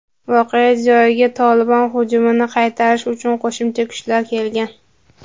voqea joyiga "Tolibon" hujumini qaytarish uchun qo‘shimcha kuchlar kelgan.